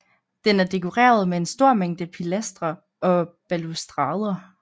Den er dekoreret med en stor mængde pilastre og balustrader